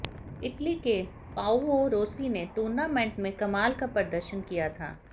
Italy के Paolo Rossi ने tournament में कमाल का प्रदर्शन किया था